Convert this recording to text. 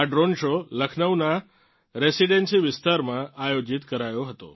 આ drone show લખનૌનાં residency વિસ્તારમાં આયોજીત કરાયો હતો